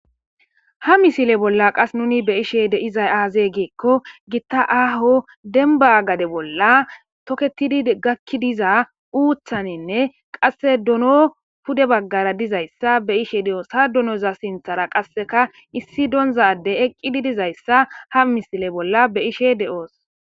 ha misile bolla qas nuni be'ishe de'izay aazee geekko gitta aaho demba gade bolla toketidi gakkidiza uuthaninne qasse dono pude baggara dizayssa be'ishe de'oos ha dunoza sinthara qasseka issi doonzade eqqididizayssa ha misile bolla be ishe de'oos